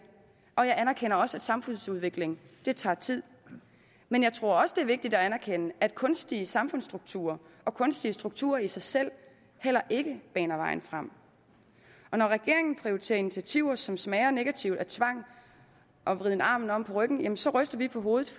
og jeg anerkender også at samfundsudvikling tager tid men jeg tror også det er vigtigt at anerkende at kunstige samfundsstrukturer og kunstige strukturer i sig selv heller ikke er vejen frem når regeringen prioriterer initiativer som smager negativt af tvang og en vriden armen om på ryggen så ryster vi på hovedet